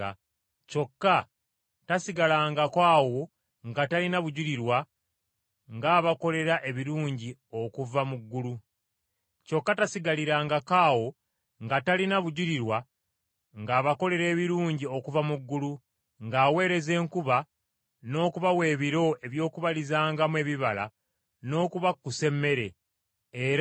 Kyokka tasigalirangako awo nga talina bujulirwa ng’abakolera ebirungi okuva mu ggulu, ng’aweereza enkuba, n’okubawa ebiro eby’okubalizangamu ebibala n’okubakkusa emmere, era n’okubajjuza essanyu mu mitima gyabwe.”